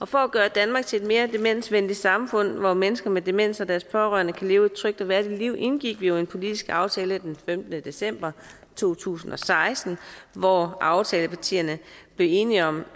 for at gøre danmark til et mere demensvenligt samfund hvor mennesker med demens og deres pårørende kan leve et trygt og værdigt liv indgik vi jo en politisk aftale den femtende december to tusind og seksten hvor aftalepartierne blev enige om